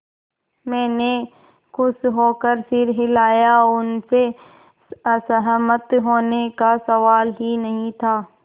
मैंने खुश होकर सिर हिलाया उनसे असहमत होने का सवाल ही नहीं था